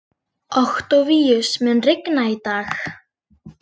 Októvíus, mun rigna í dag?